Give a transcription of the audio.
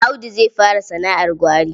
Audu zai fara sana'ar gwari.